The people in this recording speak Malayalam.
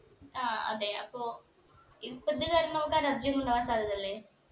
ആ അതെ അപ്പൊ ഇതിപ്പോ ഇത് വരന്നോർക്ക് allergy ഒന്നും ഉണ്ടാവാൻ സാധ്യത ഇല്ലേ